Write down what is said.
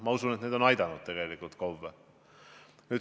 Ma usun, et need on KOV-e aidanud.